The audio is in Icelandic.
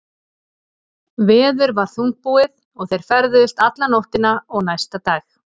Veður var þungbúið og þeir ferðuðust alla nóttina og næsta dag.